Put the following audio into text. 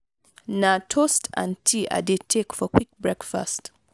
na toast and tea i dey take for quick breakfast.